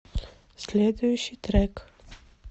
следующий трек